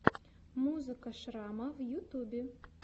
музыка шрама в ютубе